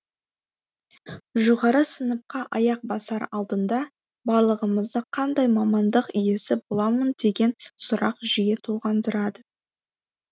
жоғары сыныпқа аяқ басар алдында барлығымызды қандай мамандық иесі боламын деген сұрақ жиі толғандырады